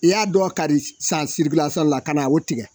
I y'a dɔn kari san sirikilasɔn la ka na o tigɛ